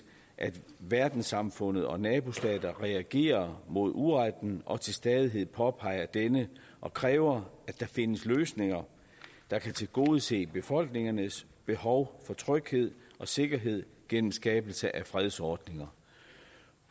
at verdenssamfundet og nabostater reagerer mod uretten og til stadighed påpeger denne og kræver at der findes løsninger der kan tilgodese befolkningernes behov for tryghed og sikkerhed gennem skabelse af fredsordninger